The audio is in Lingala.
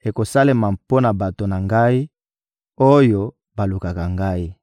ekosalema mpo na bato na Ngai, oyo balukaka Ngai.